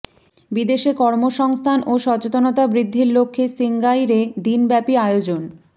বিদেশে কর্মসংস্থান ও সচেতনতা বৃদ্ধির লক্ষ্যে সিঙ্গাইরে দিনব্যাপী আয়োজন